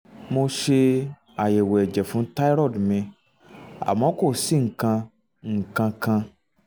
mo ṣe àyẹ̀wò ẹ̀jẹ̀ fún thyroid mi àmọ́ kò sí nǹkan nǹkan kan